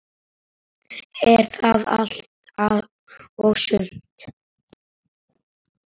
Er það allt og sumt?